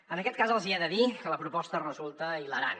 en aquest cas els hi he de dir que la proposta resulta hilarant